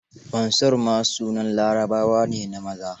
Mansur ma sunan Larabawa ne na maza.